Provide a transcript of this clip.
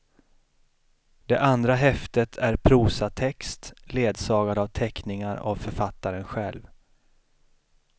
Det andra häftet är prosatext ledsagad av teckningar av författaren själv.